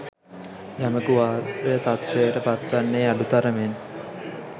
යමකු ආර්ය තත්ත්වයට පත් වන්නේ අඩු තරමෙන්